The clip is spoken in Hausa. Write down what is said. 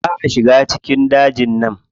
Ba a shiga cikin dajin nan.